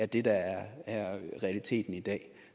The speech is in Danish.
det der er realiteten i dag